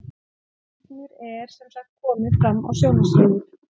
rándýr er sem sagt komið fram á sjónarsviðið